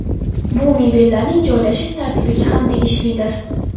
Bu mebellarning joylashish tartibiga ham tegishlidir.